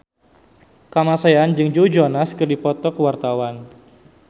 Kamasean jeung Joe Jonas keur dipoto ku wartawan